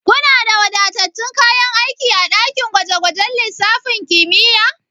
Kuna da wadatattun kayan aiki a daki gwaje gwajen lissafin kimiyya?